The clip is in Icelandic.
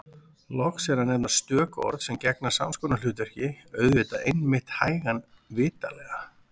Loks er að nefna stök orð sem gegna sams konar hlutverki: auðvitað einmitt hægan vitanlega